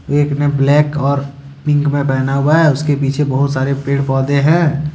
एक ने ब्लैक और पिक में पहना हुआ है उसके पीछे बहुत सारे पेड़ पौधे हैं।